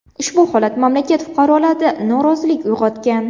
Ushbu holat mamlakat fuqarolarida norozilik uyg‘otgan.